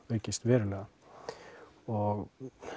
aukist verulega og